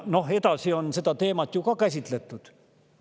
Edasi on seda teemat samuti käsitletud.